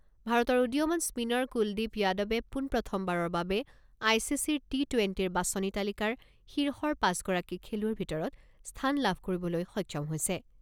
ভাৰতৰ উদীয়মান স্পীনাৰ কুলদ্বীপ যাদৱে পোনপ্ৰথমবাৰৰ বাবে আই চি চিৰ টি টুৱেণ্টিৰ বাছনি তালিকাৰ শীৰ্ষৰ পাঁচগৰাকী খেলুৱৈৰ ভিতৰত স্থান লাভ কৰিবলৈ সক্ষম হৈছে।